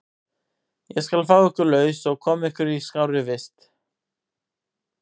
Ég skal fá ykkur laus og koma ykkur í skárri vist.